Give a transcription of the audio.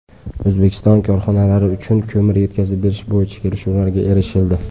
O‘zbekiston korxonalari uchun ko‘mir yetkazib berish bo‘yicha kelishuvlarga erishildi.